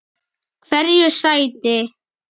Hverju sætti?